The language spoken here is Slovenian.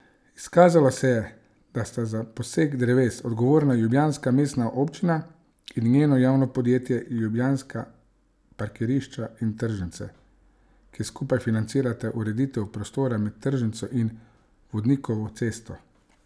Izkazalo se je, da sta za posek dreves odgovorna ljubljanska mestna občina in njeno javno podjetje Ljubljanska parkirišča in tržnice, ki skupaj financirata ureditev prostora med tržnico in Vodnikovo cesto.